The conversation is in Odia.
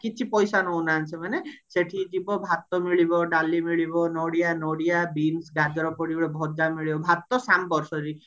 କିଛି ପଇସା ନଉନାହାନ୍ତି ସେମାନେ ସେଠି ଯିବ ଭାତ ମିଳିବ ଡାଲି ମିଲିବ ନଡ଼ିଆ ନଡ଼ିଆ ବିମ୍ସ ଗାଜର ପଡିକି ଗୋଟେ ଭଜା ମିଳିବ ଭାତ ସମ୍ବାର sorry